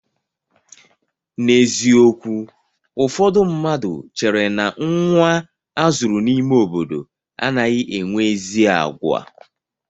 N'eziokwu ụfọdụ mmadụ chère na nnwa azụrụ n'ime obodo anaghị enwe ezi àgwà.